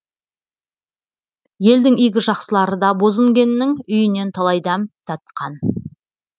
елдің игі жақсылары да бозінгеннің үйінен талай дәм татқан